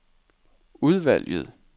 udvalget